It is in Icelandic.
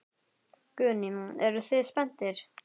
Guðný: Eruð þið spenntir?